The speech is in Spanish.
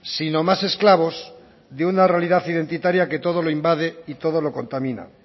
sino más esclavos de una realidad identitaria que todo lo invade y todo lo contamina